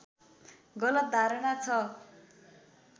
गलत धारणा ६